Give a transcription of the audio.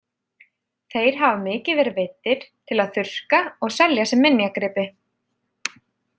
Þeir hafa mikið verið veiddir til að þurrka og selja sem minjagripi.